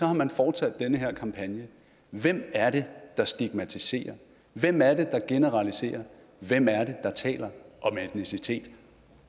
har man fortsat den her kampagne hvem er det der stigmatiserer hvem er det der generaliserer hvem er det der taler om etnicitet